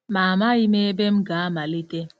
Ma amaghị m ebe m ga-amalite.